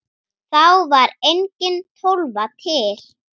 Þá var engin Tólfa til!